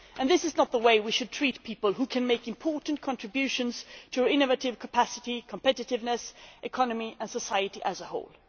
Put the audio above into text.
This is not how we should treat people who can make important contributions to our innovative capacity, competitiveness, economy and society as a whole.